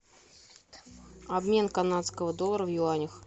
обмен канадского доллара в юанях